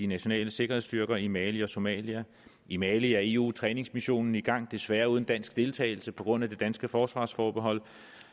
nationale sikkerhedsstyrker i mali og somalia i mali er eu træningsmissionen i gang desværre uden dansk deltagelse på grund af det danske forsvarsforbehold